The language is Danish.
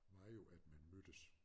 Var jo at man mødtes